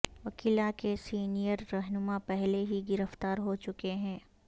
وکلاء کے سینیئر رہنما پہلے ہی گرفتار ہوچکے ہیں